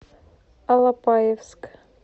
алапаевск